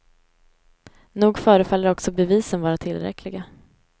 Nog förefaller också bevisen vara tillräckliga.